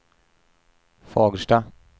Fagersta